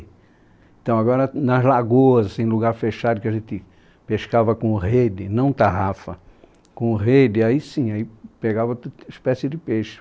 Então, agora, nas lagoas, em lugar fechado, que a gente pescava com rede, não tarrafa, com rede, aí sim, aí pegava toda espécie de peixe.